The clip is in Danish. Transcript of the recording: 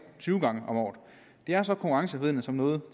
tyve gange om året det er så konkurrenceforvridende som noget